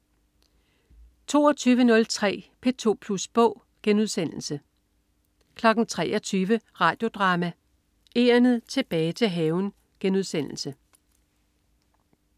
22.03 P2 Plus Bog* 23.00 Radio Drama: Egernet tilbage til haven*